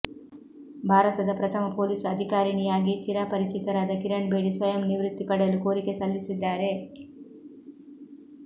ಭಾರತದ ಪ್ರಥಮ ಪೊಲೀಸ್ ಅಧಿಕಾರಿಣಿಯಾಗಿ ಚಿರಪರಿಚಿತರಾದ ಕಿರಣ್ ಬೇಡಿ ಸ್ವಯಂ ನಿವೃತ್ತಿ ಪಡೆಯಲು ಕೋರಿಕೆ ಸಲ್ಲಿಸಿದ್ದಾರೆ